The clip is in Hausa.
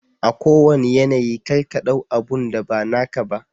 A kowanna yanayi kar ka ɗau abunda ba naka ba.